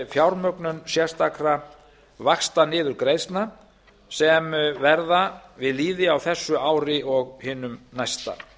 fjármögnun sérstakra vaxtaniðurgreiðslna sem verða við lýði á þessu ári og hinu næsta